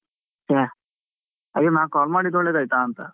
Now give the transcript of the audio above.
ಚೆ, ಹಾಗಾದ್ರೆ ನಾನು call ಮಾಡಿದ್ದು ಒಳ್ಳೆದಾಯ್ತ ಅಂತ?